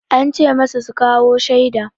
An ce masu su kawo shaida.